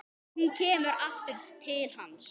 Hún kemur aftur til hans.